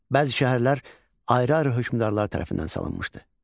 Bəzi şəhərlər ayrı-ayrı hökmdarlar tərəfindən salınmışdı.